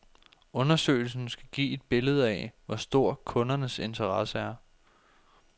Undersøgelsen skal give et billede af, hvor stor kundernes interesse er.